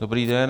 Dobrý den.